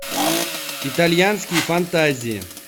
итальянские фантазии